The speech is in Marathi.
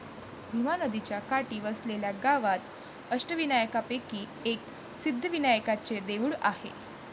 भीमा नदीच्या काठी वसलेल्या या गावात अष्टविनायकांपैकी एक सिद्धिविनायकाचे देऊळ आहे.